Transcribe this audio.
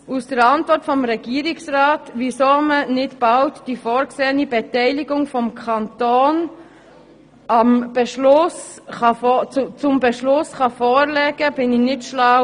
Aus der Antwort des Regierungsrats zur Frage, weshalb man nicht bald die vorgesehene Beteiligung des Kantons zum Beschluss vorlegen könne, wurde ich nicht schlau.